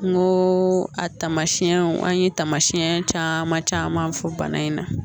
N ko a tamasiɛnw an ye taamasiyɛn caman caman fɔ bana in na